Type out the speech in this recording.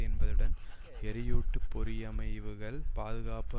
என்பதுடன் எரியூட்டு பொறியமைவுகள் பாதுகாப்பு